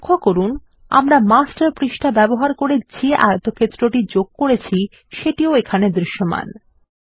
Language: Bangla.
লক্ষ্য করুন আমরা মাস্টার পৃষ্ঠা ব্যবহার করে যে আয়তক্ষেত্রটি যোগ করেছি সেটি এখানেও দৃশ্যমান